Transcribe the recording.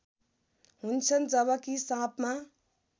हुन्छन् जबकि साँपमा